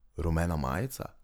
Rumena majica?